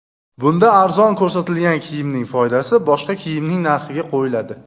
Bunda arzon ko‘rsatilgan kiyimning foydasi boshqa kiyimning narxiga qo‘yiladi.